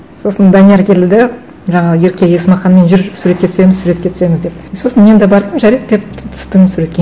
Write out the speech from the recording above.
сосын данияр келді де жаңағы ерке есмаханмен жүр суретке түсеміз суретке түсеміз деп и сосын мен де бардым жарайды деп түстім суретке